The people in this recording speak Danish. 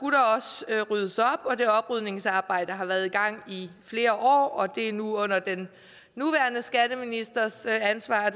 ryddes op og det oprydningsarbejde har været i gang i flere år det er nu under den nuværende skatteministers ansvar